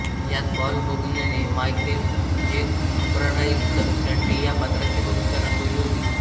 यात पॉल होगनने Michael J Crocodile Dundee या पात्राची भूमिका रंगवली होती